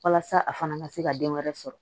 Walasa a fana ka se ka den wɛrɛ sɔrɔ